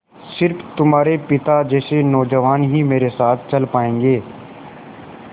स़िर्फ तुम्हारे पिता जैसे नौजवान ही मेरे साथ चल पायेंगे